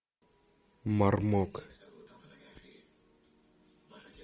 мармок